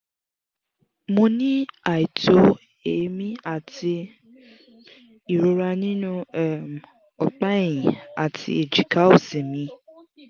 mo n ni aito eemi ati ìrora nínú um opa ẹ̀yìn àti ẹ̀jika òsì mi